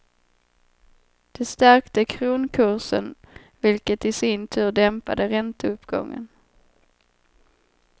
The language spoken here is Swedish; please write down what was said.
Det stärkte kronkursen vilket i sin tur dämpade ränteuppgången.